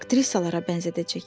Aktrisalara bənzədəcək.